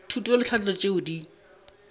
thuto le tlhahlo tšeo di